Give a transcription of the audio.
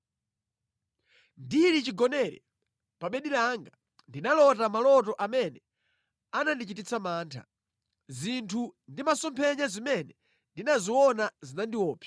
Ndili chigonere pa bedi langa, ndinalota maloto amene anandichititsa mantha. Zinthu ndi masomphenya zimene ndinaziona zinandiopsa.